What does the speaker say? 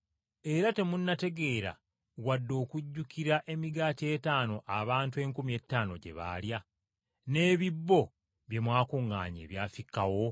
Era temunnategeera wadde okujjukira emigaati etaano abantu enkumi ettaano gye baalya, n’ebisero bye mwakuŋŋaanya ebyafikkawo?